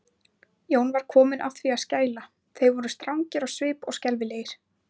Jón var kominn að því að skæla, þeir voru svo strangir á svipinn og skelfilegir.